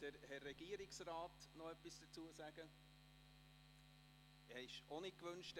Der Motionär hat in ein Postulat gewandelt.